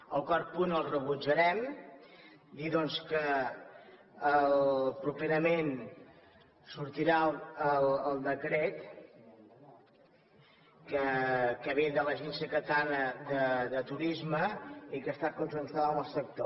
el quart punt el rebutjarem dir doncs que properament sortirà el decret que ve de l’agència catalana de turisme i que ha estat consensuat amb el sector